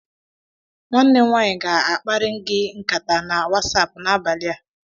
Nwanne m nwaanyị ga akparị gị nkata na Wasapụ n'abalị a